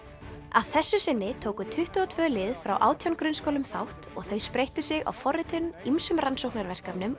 að þessu sinni tóku tuttugu og tvö lið frá átján grunnskólum þátt og þau spreyttu sig á forritun ýmsum rannsóknarverkefnum